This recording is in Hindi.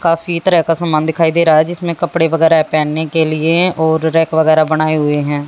काफी तरह का सामान दिखाई दे रहा है जिसमें कपड़े वगैरा पहनने के लिए और रैक वगैरा बनाये हुए है।